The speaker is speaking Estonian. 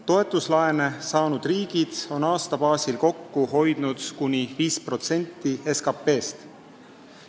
Toetuslaene saanud riigid on aastas kokku hoidnud kuni 5% SKT-st.